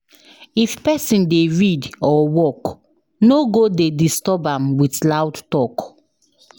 If pesin dey read or work, no go dey disturb am with loud talk.